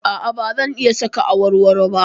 A'a, ba zan iya saka awarwaro ba.